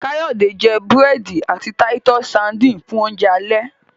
Kayode jé burẹdi àti Titus sardines fun Oúnjẹ alẹ́.